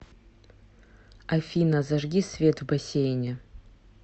афина зажги свет в бассейне